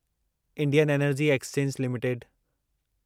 Indian energy exchange limited